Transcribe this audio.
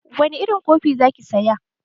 Wani irin kofi za ki saya?